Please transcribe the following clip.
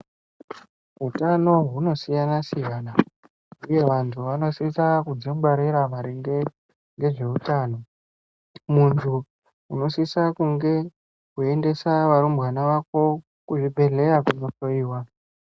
Hutano hunosiyana siyana, uye vantu vanosisa kudzingwarira maringe ngezvehutano. Muntu unosisa kunge wendesa varumbwana wako kuzvibhedhlera kunohloyiwa.